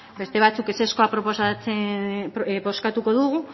beste batzuk ezezkoa bozkatuko dugu